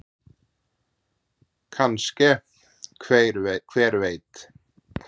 Kannske- hver veit?